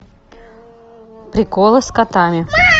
приколы с котами